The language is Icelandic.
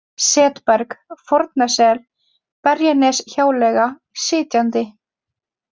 Setberg, Fornasel, Berjaneshjáleiga, Sitjandi